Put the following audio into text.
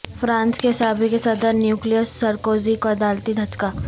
France کے سابق صدر نیکولس سرکوزی کو عدالتی دھچکہ